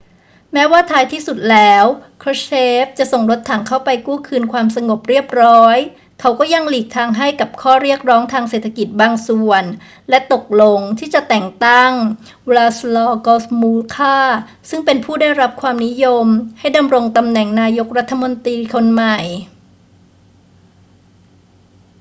แม้ว่าท้ายที่สุดแล้ว krushchev จะส่งรถถังเข้าไปกู้คืนความสงบเรียบร้อย เขาก็ยังหลีกทางให้กับข้อเรียกร้องทางเศรษฐกิจบางส่วนและตกลงที่จะแต่งตั้ง wladyslaw gomulka ซึ่งเป็นผู้ได้รับความนิยมให้ดำรงตำแหน่งนายกรัฐมนตรีคนใหม่